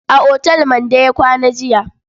A otal Mande ya kwana jiya.